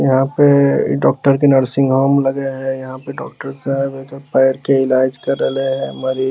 यहाँ पे डॉक्टर के नर्सिंग होम लग हे | यहाँ पे डॉक्टर साहब एकर पैर के इलाज कर रहलै हे मरीज --